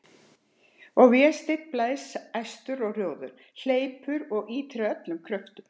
Og Vésteinn blæs æstur og rjóður, hleypur og ýtir af öllum kröftum.